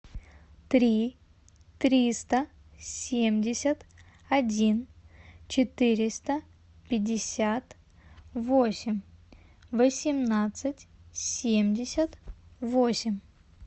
три триста семьдесят один четыреста пятьдесят восемь восемнадцать семьдесят восемь